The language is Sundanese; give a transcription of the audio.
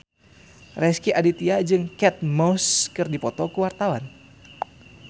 Rezky Aditya jeung Kate Moss keur dipoto ku wartawan